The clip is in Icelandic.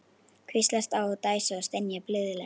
Hvíslast á og dæsa og stynja blíðlega.